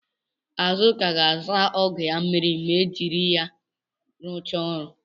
Azụka ga-asa ọgụ ya mmiri ma ejiri ya rụchaa ọrụ.